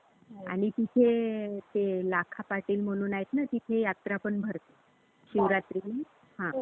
आणि तिथे ते लाखापाटील म्हणून आहेत ना तिथे यात्रा पण भरते शिवरात्रीमध्ये. हा. तर तिथे पण जाता येईल.